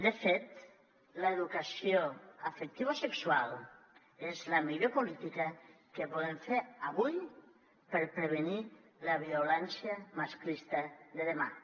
de fet l’educació afectivosexual és la millor política que podem fer avui per prevenir la violència masclista de demà